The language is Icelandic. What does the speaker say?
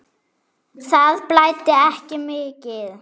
Það blæddi ekki mikið.